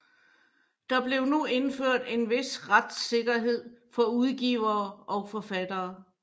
Der blev nu indført en vis retssikkerhed for udgivere og forfattere